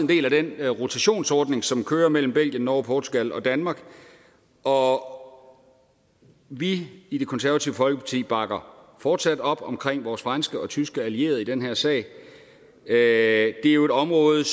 del af den rotationsordning som kører mellem belgien norge portugal og danmark og og vi i det konservative folkeparti bakker fortsat op om vores franske og tyske allierede i den her sag det er jo et område